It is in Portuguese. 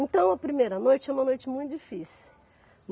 Então, a primeira noite é uma noite muito difícil.